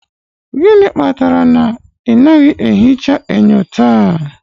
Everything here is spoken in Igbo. Gịnị kpatara na ị naghị ehicha enyo taa?